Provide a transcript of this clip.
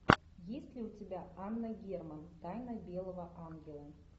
есть ли у тебя анна герман тайна белого ангела